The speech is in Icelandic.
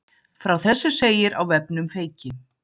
Frá þessu segir á vefnum Feyki